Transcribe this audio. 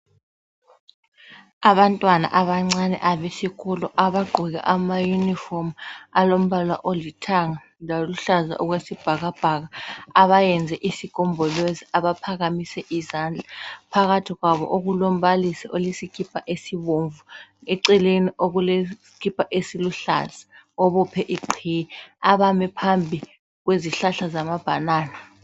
Abantwana abancane abesikolo abagqoke amayunifomu alombala olithanga loluhlaza okwesibhakabhaka abayenze isigombolozi abaphakamise izandla phakathi kwabo okulombalisi osesikipa esibomvu eceleni okuleskipa esiluhlaza obophe igqiye abame phambi kwezihlahla zamabhanana.